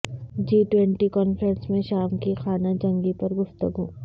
جی twenty conference میں شام کی خانہ جنگی پر گفتگو